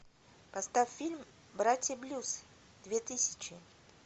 поставь фильм братья блюз две тысячи